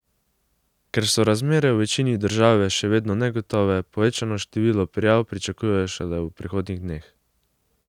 Ker so razmere v večini države še vedno negotove, povečano število prijav pričakujejo šele v prihodnjih dneh.